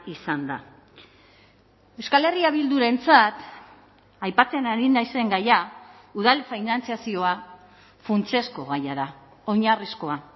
izan da euskal herria bildurentzat aipatzen ari naizen gaia udal finantzazioa funtsezko gaia da oinarrizkoa